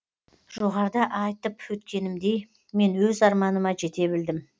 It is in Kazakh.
жоғарыда айтып өткенімдей мен өз арманыма жете білдім